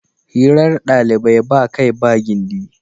Hirar ɗalibai ba kai ba gindi.